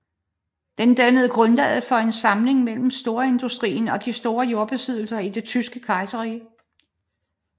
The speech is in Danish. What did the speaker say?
Den dannede grundlaget for en samling mellem storindustrien og de store jordbesiddere i det Tyske Kejserrige